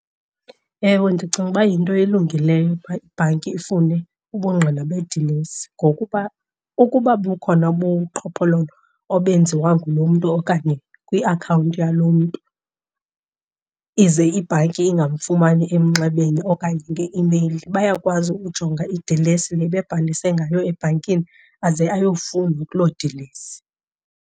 Ewe, ndicinga ukuba yinto elungileyo uba ibhanki ifune ubungqina bedilesi. Ngokuba ukuba bukhona ubuqhophololo obenziwa ngulo mntu okanye kwiakhawunti yalo mntu ize ibhanki ingamfumani emnxebeni okanye ngeimeyili, bayakwazi ukujonga idilesi le ebebhalise ngayo ebhankini aze ayofunwa kuloo dilesi.